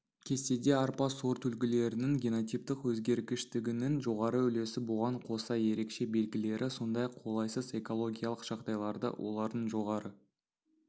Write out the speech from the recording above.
кестеде арпа сортүлгілерінің генотиптік өзгергіштігінің жоғары үлесі бұған қоса ерекше белгілері сондай-ақ қолайсыз экологиялық жағдайларда олардың жоғары